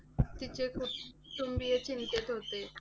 तिचे कुटुंबीय चिंतेत होते.